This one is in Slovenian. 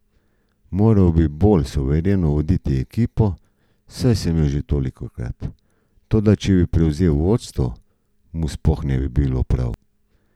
Moral bi bolj suvereno voditi ekipo, saj sem jo že tolikokrat, toda če bi prevzel vodstvo, mu spet ne bi bilo prav.